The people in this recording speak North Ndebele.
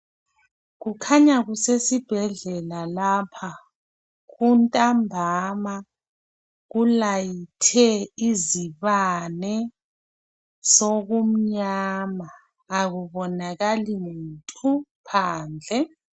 Kukhanya kusesibhedlela lapha kunthambama kulayithe izibane sokunyama akubonakali muntu phandle